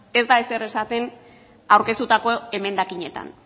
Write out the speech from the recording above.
ez da ezer esaten aurkeztutako emendakinetan